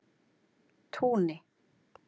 Túni